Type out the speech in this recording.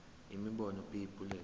imibono b bullets